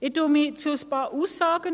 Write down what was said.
Ich äussere mich zu ein paar Aussagen.